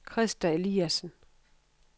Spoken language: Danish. Krista Eliasen